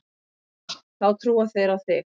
Þá trúa þeir á þig.